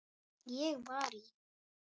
Ég var í